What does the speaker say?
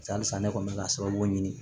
Halisa ne kɔni bɛ ka sababu ɲini